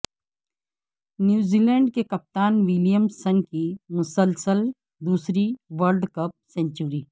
نیوزی لینڈکے کپتان Williamson کی مسلسل دوسری ورلڈ کپ سنچری